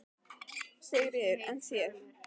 Sigríður: En þér?